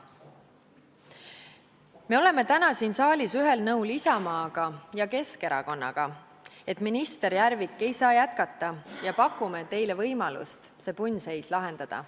Me oleme täna siin saalis ühel nõul Isamaa ja Keskerakonnaga, et minister Järvik ei saa jätkata, ja pakume teile võimalust see punnseis lahendada.